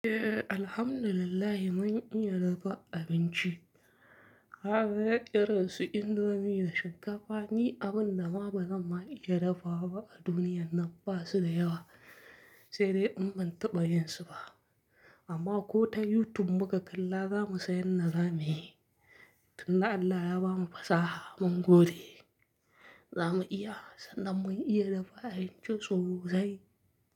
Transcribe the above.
Eh, Alhamdulillah mun iya dafa abinci. Haba, irin su indomie da shinkafa ni abinda ma ba zan ma iya dafawa ba a duniyar nan ba su da yawa, sai dai in ban taɓa yinsu ba. Amma ko ta YouTube muka kalla za mu san yanda zamuyi. Tunda Allah ya bamu fasaha mun gode. Zamu iya sanda mun iya dafa abinci sosai.